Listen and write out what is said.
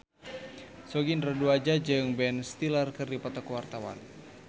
Sogi Indra Duaja jeung Ben Stiller keur dipoto ku wartawan